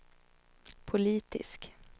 politisk